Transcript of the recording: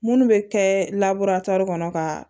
Munnu bɛ kɛ kɔnɔ ka